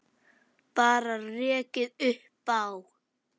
Bara rekið upp Á!